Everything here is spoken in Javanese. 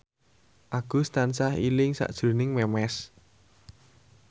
Agus tansah eling sakjroning Memes